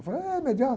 Eu falei, ah é?